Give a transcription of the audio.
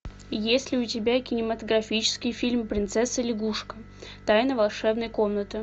есть ли у тебя кинематографический фильм принцесса лягушка тайна волшебной комнаты